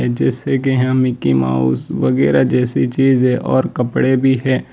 जैसे कि हम मिकी माउस वगैरा जैसी चीजे है और कपड़े भी है।